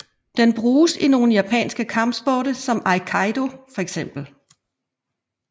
Den bruges i nogle japansk kampsporte som aikido for eksempel